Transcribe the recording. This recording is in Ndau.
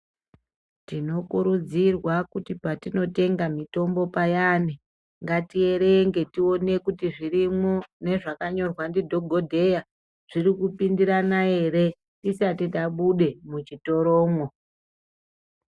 Tinokurudzirwa kuti patinotenga mutombo payani ngatierenge tione kuti zvirimo nezvakanyorwa ndidhokodheya zvirikupindirane ere tisati tabude muchitoromwo.